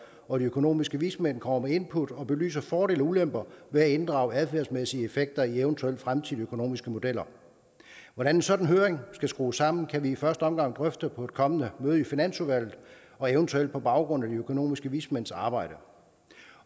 og de økonomiske vismænd kommer med input og belyser fordele og ulemper ved at inddrage adfærdsmæssige effekter i eventuelle fremtidige økonomiske modeller hvordan en sådan høring skal skrues sammen kan vi i første omgang drøfte på et kommende møde i finansudvalget og eventuelt på baggrund af de økonomiske vismænds arbejde